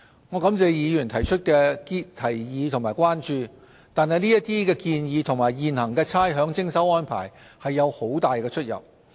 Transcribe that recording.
我感謝議員提出的提議和關注，但這些建議與現行的差餉徵收安排有很大出入。